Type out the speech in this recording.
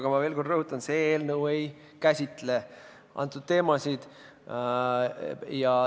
Rõhutan veel kord: see eelnõu ei käsitle neid teemasid.